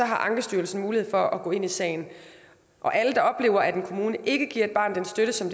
har ankestyrelsen mulighed for at gå ind i sagen alle der oplever at en kommune ikke giver et barn den støtte som